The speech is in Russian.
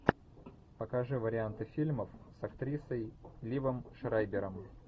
покажи варианты фильмов с актрисой ливом шрайбером